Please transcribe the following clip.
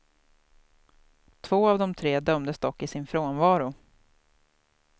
Två av de tre dömdes dock i sin frånvaro.